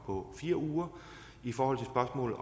på fire uger i forhold